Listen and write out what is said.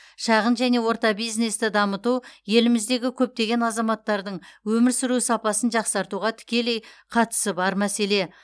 шағын және орта бизнесті дамыту еліміздегі көптеген азаматтардың өмір сүру сапасын жақсартуға тікелей қатысы бар мәселе